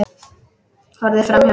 Horfði framhjá mér.